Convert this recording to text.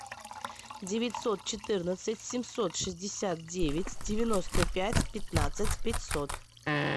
девятьсот четырнадцать семьсот шестьдесят девять девяносто пять пятнадцать пятьсот